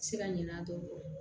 Se ka ɲinɛ a dɔn